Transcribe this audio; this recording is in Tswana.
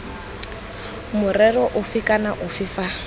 morerong ofe kana ofe fa